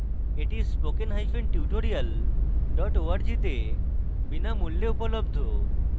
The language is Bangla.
এটি